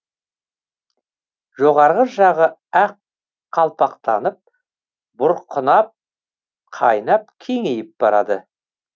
жоғарғы жағы ақ қалпақтанып бұрқырап қайнап кеңейіп барады